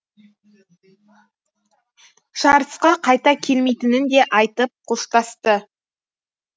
жарысқа қайта келмейтінін де айтып қоштасты